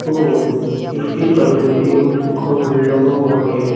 और इसके छत में एक पंखा भी लगा हुआ है।